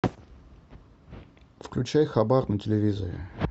включай хабар на телевизоре